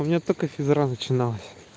у меня только физкультура начиналась